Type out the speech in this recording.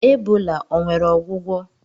Ebola o nwere ọgwụgwọ?